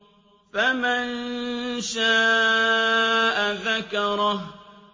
فَمَن شَاءَ ذَكَرَهُ